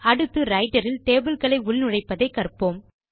அடுத்து ரைட்டர் இல் டேபிள் களை உள்நுழைப்பதை கற்போம்